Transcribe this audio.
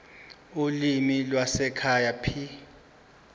ulimi lwasekhaya p